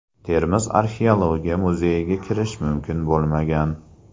Termiz Arxeologiya muzeyiga kirish mumkin bo‘lmagan.